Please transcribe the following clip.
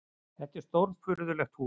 Þetta var stórfurðulegt hús.